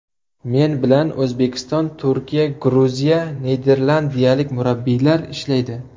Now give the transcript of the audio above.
Men bilan O‘zbekiston, Turkiya, Gruziya, va niderlandiyalik murabbiylari ishlaydi.